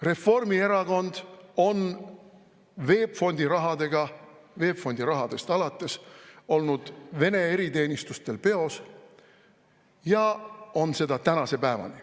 Reformierakond on VEB Fondi rahadega, VEB Fondi rahadest alates olnud Vene eriteenistustel peos ja on seda tänase päevani.